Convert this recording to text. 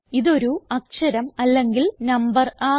ഇതൊരു അക്ഷരം അല്ലെങ്കിൽ നമ്പർ ആകാം